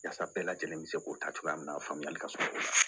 Yasa bɛɛ lajɛlen bɛ se k'o ta cogoya min na faamuyali ka co